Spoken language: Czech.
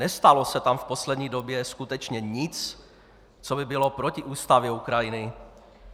Nestalo se tam v poslední době skutečně nic, co by bylo proti ústavě Ukrajiny?